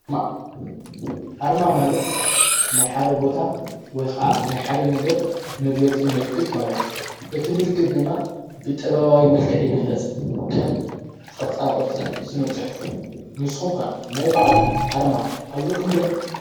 ኣርማ ማለት ናይ ሓደ ቦታ ወይ ኸዓ ናይ ሓደ ነገር መግለጺ ምልክት ማለት እዩ። እቲ ምልክት ድማ ብጠበባዊ መልከዕ ይግለጽ። ከም ቕርጻ ቕርጽን ስነ-ጽሕፉ ንስኩም ከ ናይ ባዕልኩም ኣርማ ኣለኩም ዶ?